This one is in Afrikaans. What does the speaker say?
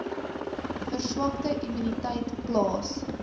verswakte immuniteit plaas